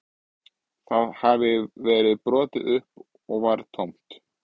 Það hafði verið brotið upp og var tómt